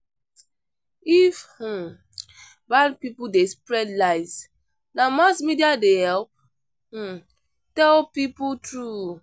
If um bad people dey spread lies, na mass media dey help um tell people true.